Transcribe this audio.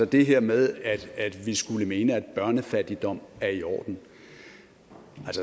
det her med at vi skulle mene at børnefattigdom er i orden